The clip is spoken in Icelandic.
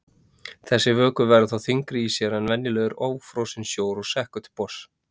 Þessi vökvi verður þá þyngri í sér en venjulegur ófrosinn sjór og sekkur til botns.